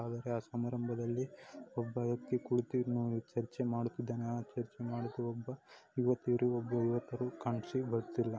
ಆ ಸಮಾರಂಭದಲ್ಲಿ ಒಬ್ಬ ವ್ಯಕ್ತಿ ಕುಳಿತು ಚರ್ಚೆ ಮಾಡುತ್ತಿದ್ದಾನೆ. ಆ ಚರ್ಚೆ ಮಾಡುತ್ತಿರುವಂತ ಯುವತಿಯರು ಒಬ್ಬ ಯುವಕ --